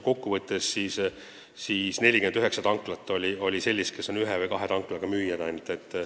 Kokku võttes aga 49 müüjat on sellised, kellele kuulub üks või kaks tanklat.